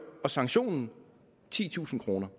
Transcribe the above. sanktionen titusind kroner